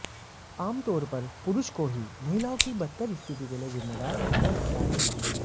आमतौर पर पुरुष को ही महिलाओं की बदतर स्थिति के लिए जिम्मेदार माना जाता है